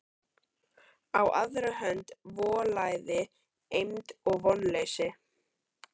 Á aðra hönd volæði, eymd og vonleysi.